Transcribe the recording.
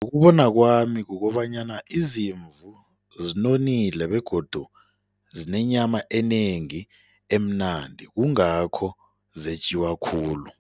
Ngokubona kwami kukobanyana izimvu zinonile begodu zinenyama enengi emnandi, kungakho zetjiwa khulu.